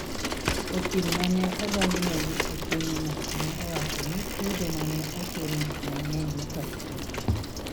Okil ma ne odonjonegi e pinyno ne owacho ni chudo ma ne ochulno ne ng'eny mokalo tong '